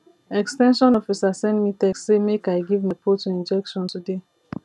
ex ten sion officer send me text say make i give my poultry injection today